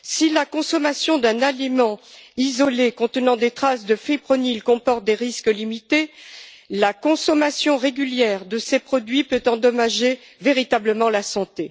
Si la consommation d'un aliment isolé contenant des traces de fipronil comporte des risques limités, la consommation régulière de ces produits peut endommager véritablement la santé.